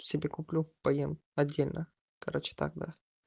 себе куплю поем отдельно короче тогда